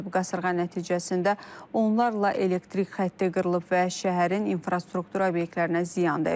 Qasırğa nəticəsində onlarla elektrik xətti qırılıb və şəhərin infrastruktura obyektlərinə ziyan dəyib.